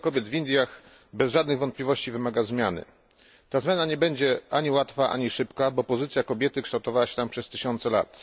Sytuacja kobiet w Indiach bez żadnych wątpliwości wymaga zmiany, ta zmiana nie będzie ani łatwa, ani szybka, bo pozycja kobiety kształtowała się tam przez tysiące lat.